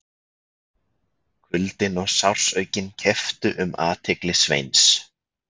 Kuldinn og sársaukinn kepptu um athygli Sveins.